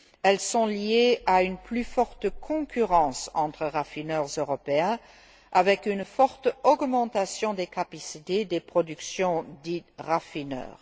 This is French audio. Elles sont liées à une plus forte concurrence entre raffineurs européens, avec une forte augmentation des capacités de production des raffineurs.